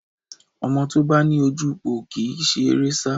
Ẹmọ́ tó bá ní ojúpòó kì í si eré sá